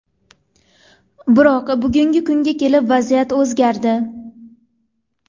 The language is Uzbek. Biroq, bugungi kunga kelib vaziyat o‘zgardi.